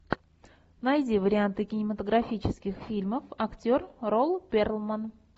найди варианты кинематографических фильмов актер рон перлман